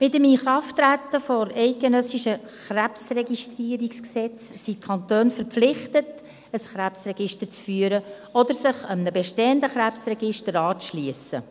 Mit dem Inkrafttreten des Bundesgesetzes über die Registrierung von Krebserkrankungen (Krebsregistrierungsgesetz, KRG) sind die Kantone verpflichtet, ein Krebsregister zu führen oder sich einem bestehenden Krebsregister anzuschliessen.